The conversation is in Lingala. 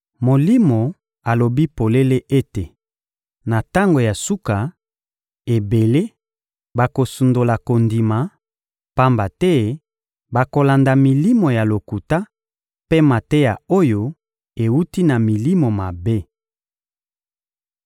Molimo alobi polele ete, na tango ya suka, ebele bakosundola kondima, pamba te bakolanda milimo ya lokuta mpe mateya oyo ewuti na milimo mabe.